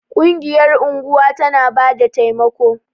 Ƙungiyar unguwa tana bada taimako.